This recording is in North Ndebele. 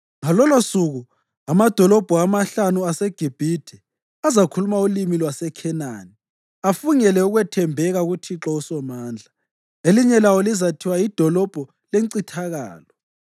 Ngalolosuku amadolobho amahlanu aseGibhithe azakhuluma ulimi lwaseKhenani, afungele ukwethembeka kuThixo uSomandla. Elinye lawo lizathiwa liDolobho leNcithakalo.